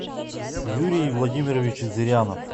юрий владимирович зырянов